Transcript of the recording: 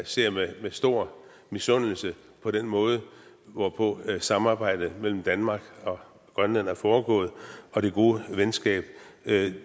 ser med stor misundelse på den måde hvorpå samarbejdet mellem danmark og grønland er foregået og det gode venskab